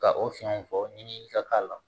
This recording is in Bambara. Ka o fiɲɛw fɔ ɲini ka k'a la